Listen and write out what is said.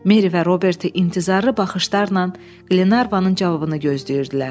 Meri və Roberti intizarla baxışlarla Glenarvanın cavabını gözləyirdilər.